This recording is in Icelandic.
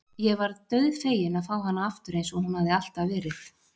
Ég varð dauðfegin að fá hana aftur eins og hún hafði alltaf verið.